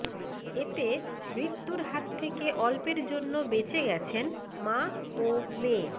এতে মৃত্যুর হাত থেকে অল্পের জন্য বেঁচে গেছেন মা ও মেয়ে